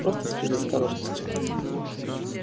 просто из предосторожности